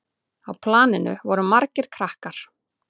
Á planinu voru margir krakkar.